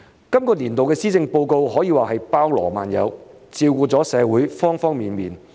這年度的施政報告可說包羅萬有，照顧了社會方方面面。